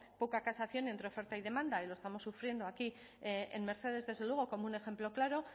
poca casación entre oferta y demanda y lo estamos sufriendo aquí en mercedes desde luego como un ejemplo claro